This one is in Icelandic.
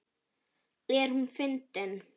Er hún fyndin?